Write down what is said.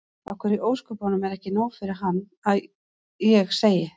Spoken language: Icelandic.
Af hverju í ósköpunum er ekki nóg fyrir hann að ég segi